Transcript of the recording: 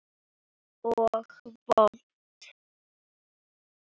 Og vont.